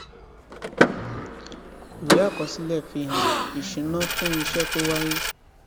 ìwé àkọsílẹ fi hàn ìṣúná fún iṣẹ tó wáyé